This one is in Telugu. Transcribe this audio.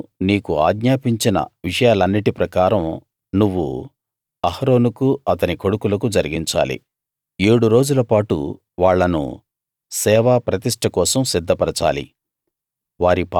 నేను నీకు ఆజ్ఞాపించిన విషయాలన్నిటి ప్రకారం నువ్వు అహరోనుకు అతని కొడుకులకూ జరిగించాలి ఏడు రోజుల పాటు వాళ్ళను సేవా ప్రతిష్ట కోసం సిద్ధపరచాలి